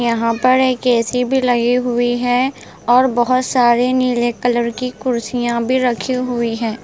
यहाँ पर एक एसी भी लगी हुई है और बहुत सारी नीले कलर की कुर्सियाँ भी रखी हुई है।